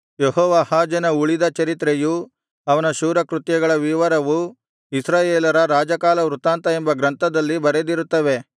ಯೆಹೋವಾಹಾಜನ ಉಳಿದ ಚರಿತ್ರೆಯೂ ಅವನ ಶೂರಕೃತ್ಯಗಳ ವಿವರವೂ ಇಸ್ರಾಯೇಲರ ರಾಜಕಾಲವೃತ್ತಾಂತ ಎಂಬ ಗ್ರಂಥದಲ್ಲಿ ಬರೆದಿರುತ್ತವೆ